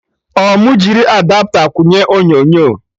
Ọ mụ jiri Adapta kwụnye onyonyo?